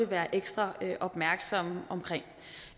være ekstra opmærksomme på